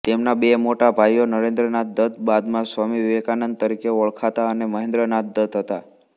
તેમના બે મોટા ભાઈઓ નરેન્દ્રનાથ દત્ત બાદમાં સ્વામી વિવેકાનંદ તરીકે ઓળખાતા અને મહેન્દ્રનાથ દત્ત હતા